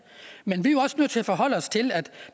men vi er jo også nødt til at forholde os til at